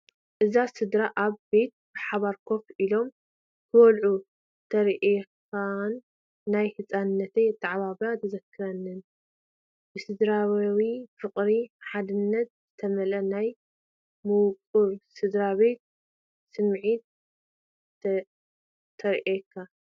እዛ ስድራ ኣብ ገዛ ብሓባር ኮፍ ኢሎም ክበልዑ ተሪኤካን ናይ ህፃንነተይ ኣተዓባብያ ተዘክረንን። ብስድራቤታዊ ፍቕርን ሓድነትን ዝተመልአ ናይ ምዉቕ ስድራቤት ስምዒት ተርየካ።